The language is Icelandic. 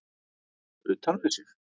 Utan við sig?